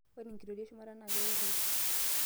ore enkitoria eshumata naa keworoi